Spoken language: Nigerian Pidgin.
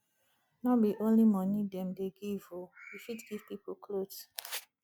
no be only moni dem dey give o you fit give pipo clothes